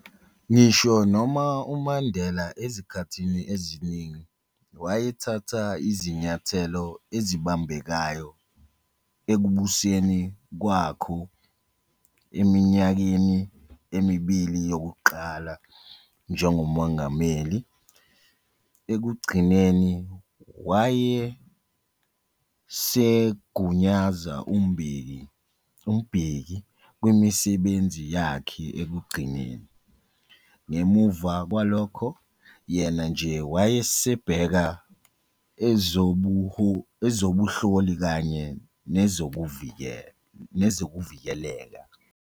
Ngisho noma uMandela ezikhathini eziningi, wayethatha izinyathelo ezibambekayo ekubuseni kwakho eminyakeni emibili yokuqala njengoMongameli, ekugcineni wayesegunyaza uMbeki kwimisebenzi yakhe ekugcineni, ngemuva kwalokho, yena nje wayesebheka ezobunhloli kanye nezokuvikeleka.